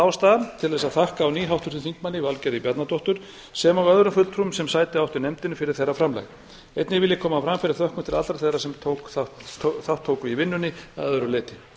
ástæða til að þakka á ný háttvirtum þingmanni valgerði bjarnadóttur sem og öðrum fulltrúum sem sæti áttu í nefndinni fyrir þeirra framlag einnig vil ég koma á framfæri þökkum til allra þeirra sem þátt tóku í vinnunni að öðru leyti